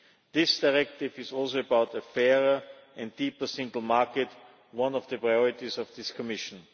This directive is also about the fairer and deeper single market, one of the priorities of this Commission.